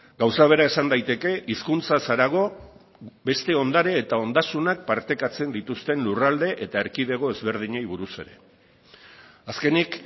gauza bera esan daiteke hizkuntzaz harago beste ondare eta ondasunak partekatzen dituzten lurralde eta erkidego ezberdinei buruz ere azkenik